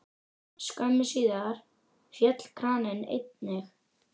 Skömmu síðar féll kraninn einnig.